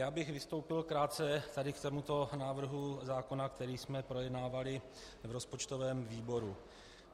Já bych vystoupil krátce tady k tomuto návrhu zákona, který jsme projednávali v rozpočtovém výboru.